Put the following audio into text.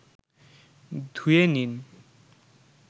ধুয়ে নিন